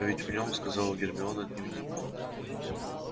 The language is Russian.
а ведь в нём сказала гермиона дневник